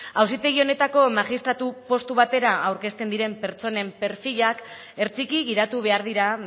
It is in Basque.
auzitegi honetako magistratu postu batera aurrezten diren pertsonen perfilak hertsiki gidatu behar dira